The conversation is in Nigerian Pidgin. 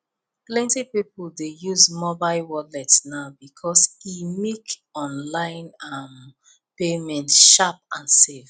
plenty people dey use mobile wallet now because e make online um payment sharp and safe